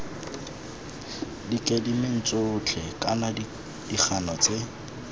dikemeding tsotlhe kana dikgano tse